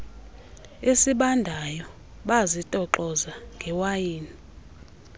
esibandayo bazitoxoza ngewayini